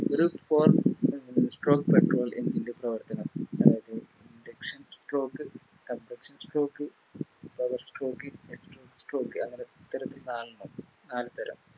ഒരു stone Piston stroke എന്നതിൻറെ പ്രവർത്തനം അതായത് Intake stroke compression stroke power stroke exhaust stroke അങ്ങനെ ഇത്തരത്തിൽ നാലെണ്ണം നാല് തരം